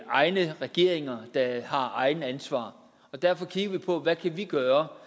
egne regeringer der har egne ansvar og derfor kigger vi på hvad vi kan gøre